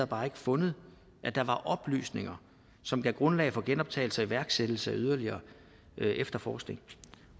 bare ikke fundet at der var oplysninger som gav grundlag for genoptagelse og iværksættelse af yderligere efterforskning